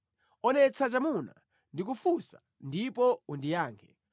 Onetsa chamuna; ndikufunsa ndipo undiyankhe.